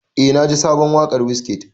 Eh na ji sabon waƙar Wizkid.